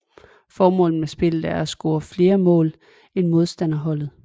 Formålet med spillet er at score flere mål end modstanderholdet